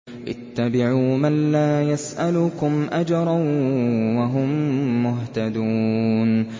اتَّبِعُوا مَن لَّا يَسْأَلُكُمْ أَجْرًا وَهُم مُّهْتَدُونَ